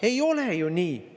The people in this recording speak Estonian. Ei ole ju nii!